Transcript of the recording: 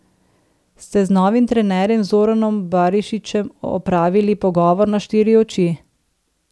Ste z novim trenerjem Zoranom Barišićem opravili pogovor na štiri oči?